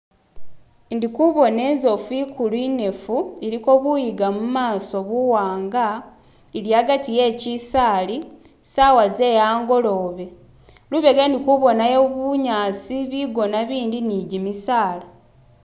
Ndikubona inzofu inkulu inefu iliko buyiga mumaso buwanga ili agati we kisaali sawa zeyangolobe. Lubega ndikubonayo bunyasi bigona bindi ni jimisala